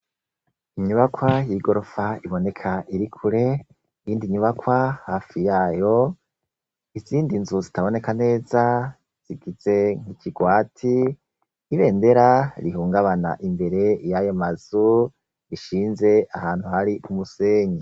Inyubakwa y' igorofa iboneka iri kure iyindi nyubakwa hafi yayo izindi nzu zitaboneka neza zigize ikigwati ibendera rihungabana imbere yayo mazu ishinze ahantu hari umusenyi.